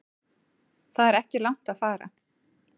Það er ekki langt að fara.